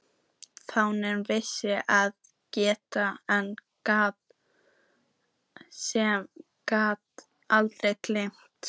Fáir vissu það betur en maður sem gat aldrei gleymt.